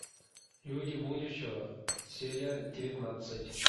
люди будущего серия девятнадцать